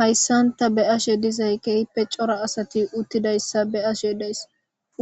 Hayssan tha be7asheedizay keeehippe cora asathi uththidayssa be7ashee days;